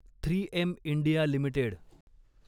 three M India limited